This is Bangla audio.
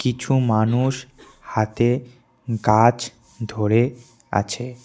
কিছু মানুষ হাতে গাছ ধরে আছে।